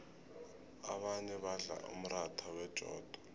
abanye badla umratha wejodo